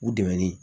U dɛɛni